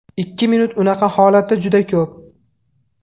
Ikki minut unaqa holatda juda ko‘p.